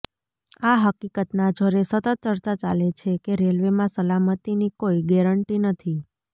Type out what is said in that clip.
આ હકીકતના જોરે સતત ચર્ચા ચાલે છે કે રેલવેમાં સલામતીની કોઈ ગેરન્ટી નથી